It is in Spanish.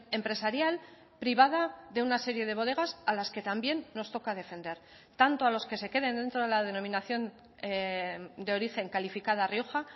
empresarial privada de una serie de bodegas a las que también nos toca defender tanto a los que se queden dentro de la denominación de origen calificada rioja